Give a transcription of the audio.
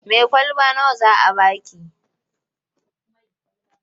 Mai kwalaba nawa za a ba ki?